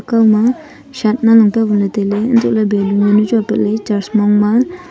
akao ma shat nanglong kia baley tailay hantohley balloon yaonu chu apat ley church mong ma.